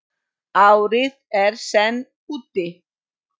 Árið er senn úti.